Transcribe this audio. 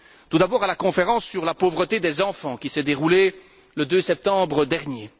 Tout d'abord à la conférence sur la pauvreté des enfants, qui s'est déroulée le 2 septembre dernier